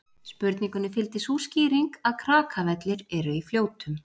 Spurningunni fylgdi sú skýring að Krakavellir eru í Fljótum.